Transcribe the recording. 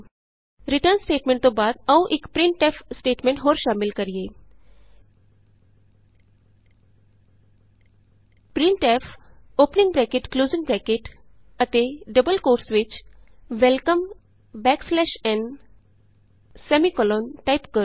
return statement ਤੋਂ ਬਾਅਦ ਆਉ ਇਕ ਪ੍ਰਿੰਟਫ ਸਟੇਟਮੈਂਟ ਹੋਰ ਸ਼ਾਮਲ ਕਰੀਏ printfਵੈਲਕਮ ਨ ਟਾਈਪ ਕਰੋ